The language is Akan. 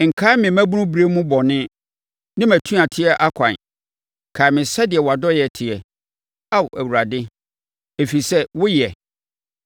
Nkae me mmabunu berɛ mu bɔne ne mʼatuateɛ akwan; kae me sɛdeɛ wʼadɔeɛ teɛ, Ao Awurade, ɛfiri sɛ wo yɛ.